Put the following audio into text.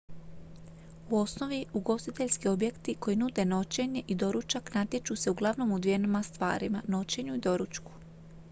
u osnovi ugostiteljski objekti koji nude noćenje i doručak natječu se uglavnom u dvjema stvarima noćenju i doručku